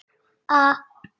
Við vorum heppni.